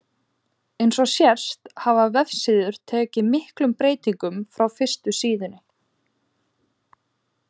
Eins og sést hafa vefsíður tekið miklum breytingum frá fyrstu síðunni.